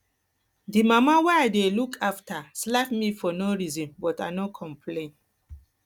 the mama wey i dey look after slap me for no reason but i no complain